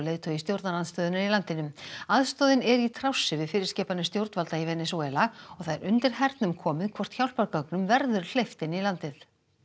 leiðtogi stjórnarandstöðunnar í landinu aðstoðin er í trássi við fyrirskipanir stjórnvalda í Venesúela og það er undir hernum komið hvort hjálpargögnum verður hleypt inn í landið